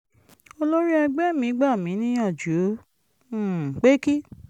olórí ẹgbẹ́ mi gbà mí níyànjú um pé kí